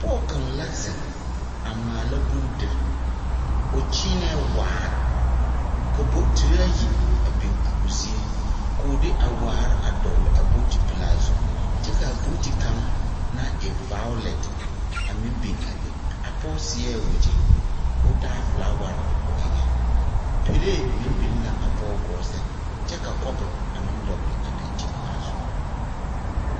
Pɔɔ kaŋ la zeŋ a maala bondir. O kyeenɛ waar, ka bokitiraayi a biŋ a o zie. K'o de a waar a dɔɔl a bokiti pelaa zu. Kyɛ k'a booti kaŋ naŋ e vaolɛte a meŋ biŋ a be. A pɔɔ seɛɛ wegyɛ k'o taa folaware o eŋɛŋ. Pelee meŋ biŋ la a pɔɔ gɔɔ sɛŋ, kyɛ ka kɔpo a meŋ dɔgele a dankyin-ŋmaa zu.